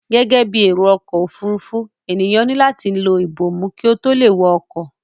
Gẹ́gẹ́ bí èrò ọkọ òfuurufú, ènìyàn ni lati lọ ibomu kí ó tó lè wọ ọkọ̀